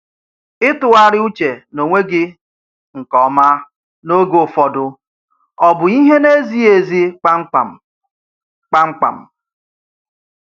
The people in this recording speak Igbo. Ịtụ̀gharị uche n’onwe gị nkè ómá n’oge ụfọdụ, ọ̀ bụ ìhè na-ezighị ezi kpamkpam? kpamkpam?